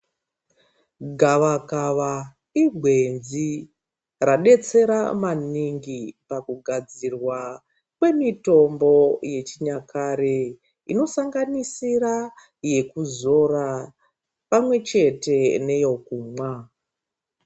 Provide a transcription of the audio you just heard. Gavakava igwenzi radetsera maningi pakugadzirwa kwemitombo yechinyakare inosanganisira mafuta yekuzora pamwechete neyekumwa.